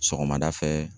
Sɔgɔmada fɛ